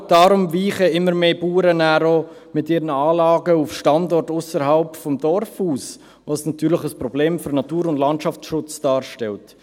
Genau deshalb weichen dann auch immer mehr Bauern mit ihren Anlagen auf Standorte ausserhalb des Dorfes aus, was natürlich ein Problem für den Natur- und Landschaftsschutz darstellt.